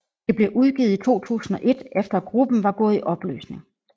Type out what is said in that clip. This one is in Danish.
Det blev udgivet i 2001 efter gruppen var gået i opløsning